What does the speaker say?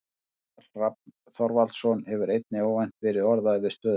Óskar Hrafn Þorvaldsson hefur einnig óvænt verið orðaður við stöðuna.